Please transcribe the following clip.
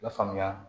Lafaamuya